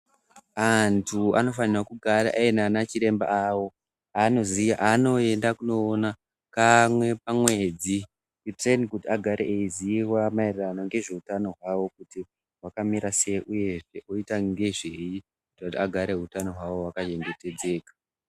Antu anofanirwa kugara ainanachiremba awo avanoenda kunoona kamwe pamwedzi kuteni kuti agare eiziya maererano ngezveutano hwavo kuti hwakamira sei uyezve oita ngezvei kuti vagare utano hwavo hwakachengetedzeka.